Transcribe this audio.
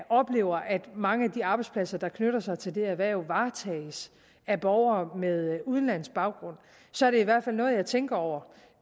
oplever at mange af de arbejdspladser der knytter sig til erhvervet varetages af borgere med udenlandsk baggrund så er det i hvert fald noget jeg tænker over